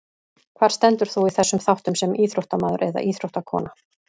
Hvar stendur þú í þessum þáttum sem íþróttamaður eða íþróttakona?